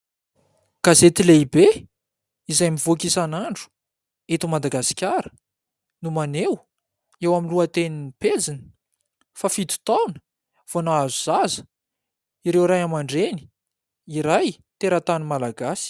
Gazety lehibe izay mivoaka isan'andro eto Madagasikara no maneho eo amin'ny lohatenin'ny pejiny fa fito taona vao nahazo zaza ireo Ray aman-dReny iray teratany Malagasy.